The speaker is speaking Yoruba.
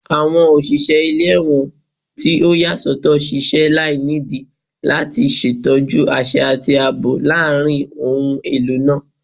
Awọn oṣiṣẹ ile-ẹwọn ti o yasọtọ ṣiṣẹ lainidi lati ṣetọju aṣẹ ati aabo laarin ohun elo naa